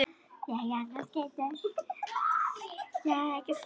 Guðfinnsson verkstjóri með höndum.